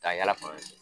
Ka yala fan de